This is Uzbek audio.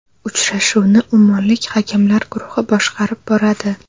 Uchrashuvni ummonlik hakamlar guruhi boshqarib boradi.